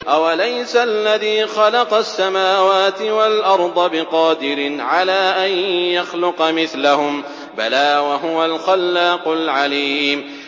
أَوَلَيْسَ الَّذِي خَلَقَ السَّمَاوَاتِ وَالْأَرْضَ بِقَادِرٍ عَلَىٰ أَن يَخْلُقَ مِثْلَهُم ۚ بَلَىٰ وَهُوَ الْخَلَّاقُ الْعَلِيمُ